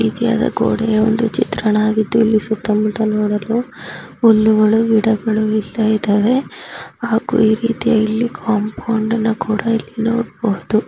ಗೋಡೆಯ ಒಂದು ಚಿತ್ರಣವಾಗಿದೆ ಇಲ್ಲಿ ಸುತ್ತಮುತ್ತ ನೋಡಲು ಹುಲ್ಲುಗಳು ಗಿಡಗಳು ಇಲ್ಲಿ ಇದಾವೆ ಹಾಗೂ ಒಂದು ರೀತಿಯಾದ ಕಾಂಪೌಂಡ್ನ ಕೂಡಾ ನೋಡಬಹುದು.